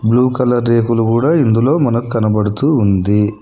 Blue colour రేకులు కూడా ఇందులో మనకు కనబడుతూ ఉంది.